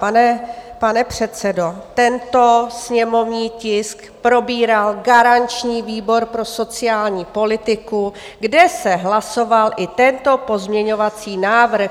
Pane předsedo, tento sněmovní tisk probíral garanční výbor pro sociální politiku, kde se hlasoval i tento pozměňovací návrh.